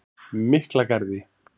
Miklagarði